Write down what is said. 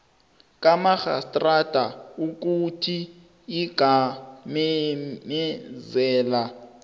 kamarhistrada ukuthi ingamemezela